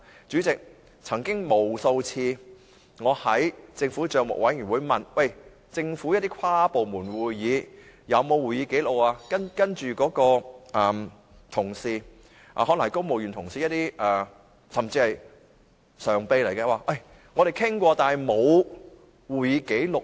主席，我曾經在政府帳目委員會無數次詢問政府，就一些跨部門會議有沒有擬備會議紀錄，但那些公務員同事，甚至可能是常任秘書長，表示有作出討論但卻沒有會議紀錄。